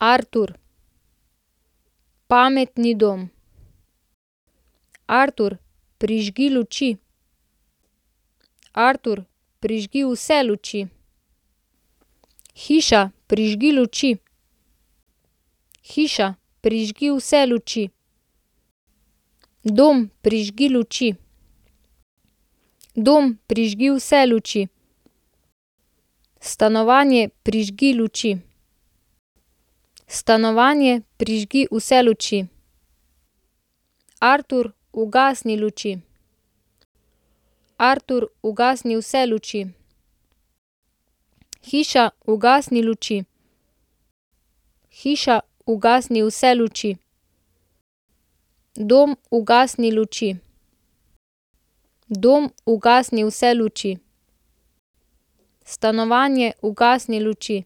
Artur. Pametni dom. Artur, prižgi luči. Artur, prižgi vse luči. Hiša, prižgi luči. Hiša, prižgi vse luči. Dom, prižgi luči. Dom, prižgi vse luči. Stanovanje, prižgi luči. Stanovanje, prižgi vse luči. Artur, ugasni luči. Artur, ugasni vse luči. Hiša, ugasni luči. Hiša, ugasni vse luči. Dom, ugasni luči. Dom, ugasni vse luči. Stanovanje, ugasni luči.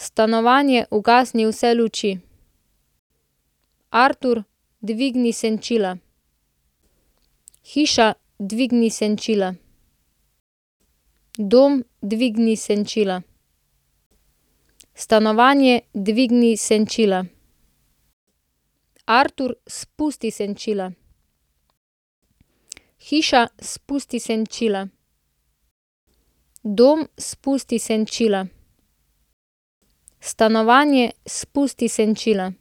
Stanovanje, ugasni vse luči. Artur, dvigni senčila. Hiša, dvigni senčila. Dom, dvigni senčila. Stanovanje, dvigni senčila. Artur, spusti senčila. Hiša, spusti senčila. Dom, spusti senčila. Stanovanje, spusti senčila.